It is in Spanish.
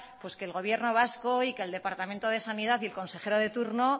que el gobierno vasco y que el departamento de sanidad y el consejero de turno